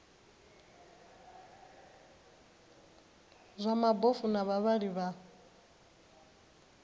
zwa mabofu na vhavhali vha